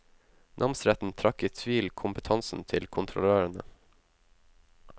Namsretten trakk i tvil kompetansen til kontrollørene.